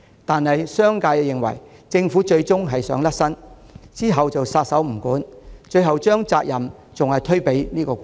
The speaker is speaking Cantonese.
惟商界認為，政府最終只想抽身，撒手不管，最後還是會把責任推給僱主。